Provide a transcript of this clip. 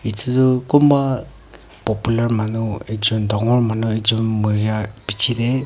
etu tu kunba popular manu ekjon dagur manu ekjon mori beche le--